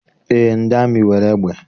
Eé, ndị amị nwere egbe